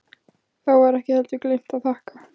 Þá var ekki heldur gleymt að þakka.